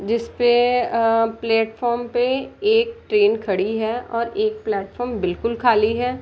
जिसपे अ प्लेटफार्म पे एक ट्रेन खड़ी है और एक प्लेटफार्म बिल्कुल खाली है।